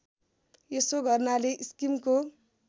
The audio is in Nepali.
यसो गर्नाले स्किमको